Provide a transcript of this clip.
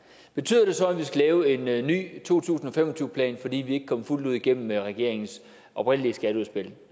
betyder det så at vi skal lave en ny to tusind og fem og tyve plan fordi vi ikke kom fuldt ud igennem med regeringens oprindelige skatteudspil